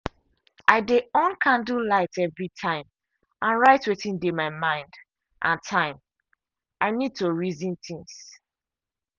i dey on candle light every time and write wetin dey my mind and time i need to reason things.